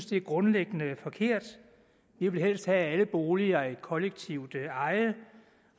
det er grundlæggende forkert vi vil helst have at alle boliger er et kollektivt eje